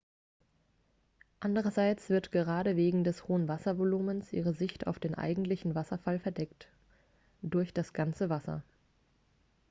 andererseits wird gerade wegen des hohen wasservolumens ihre sicht auf den eigentlichen wasserfall verdeckt durch das ganze wasser